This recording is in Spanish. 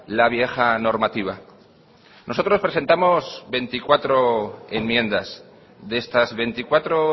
la vieja normativa nosotros presentamos veinticuatro enmiendas de estas veinticuatro